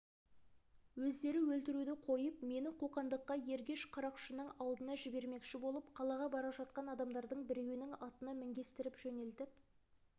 өздері өлтіруді қойып мені қоқандыққа ергеш қарақшының алдына жібермекші болып қалаға бара жатқан адамдардың біреуінің атына мінгестіріп жөнелтіп